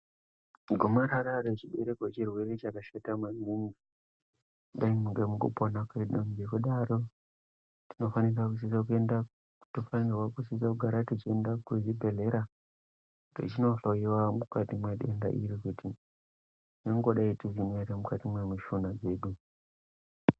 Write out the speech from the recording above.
Gomarara rechibereko chirwere chakashata manigi dai mungaa mukati mekupona kwedu ngekudaro tinofanirwa kugara teienda kuzvibhehlera teindohloiwa kuti medenda iri kuti ringadai ririmo ere mukati memushuna dzedu.